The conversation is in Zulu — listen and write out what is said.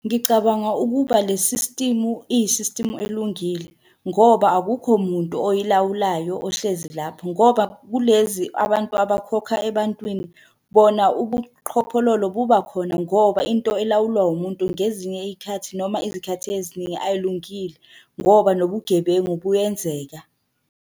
Ngicabanga ukuba le sistimu, iyisistimu elungile, ngoba akukho muntu oyilawulayo ohlezi lapho, ngoba kulezi abantu abakhokha ebantwini bona ubuqhophololo buba khona ngoba into elawulwa umuntu ngezinye iy'khathi noma izikhathi eziningi ayilungile, ngoba nobugebengu buyenzeka.